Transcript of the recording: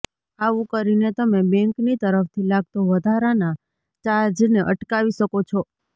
આવુ કરીને તમે બેંકની તરફથી લાગતો વધારાનાં ચાર્જને અટકાવી શકો છો